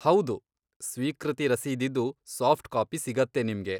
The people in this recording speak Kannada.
ಹೌದು, ಸ್ವೀಕೃತಿ ರಸೀದಿದು ಸಾಫ್ಟ್ ಕಾಪಿ ಸಿಗತ್ತೆ ನಿಮ್ಗೆ.